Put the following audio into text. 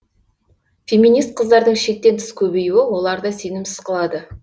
феминист қыздардың шектен тыс көбейюі оларды сенімсіз қылады